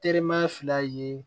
Teriman fila ye